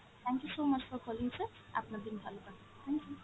thank you so much for calling sir, আপনার দিন ভালো কাটুক, thank you।